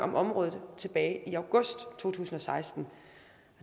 om området tilbage i august to tusind og seksten